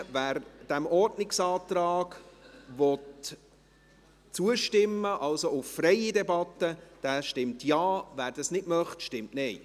Wer dem Ordnungsantrag auf freie Debatte zustimmt, stimmt Ja, wer dies nicht möchte, stimmt Nein.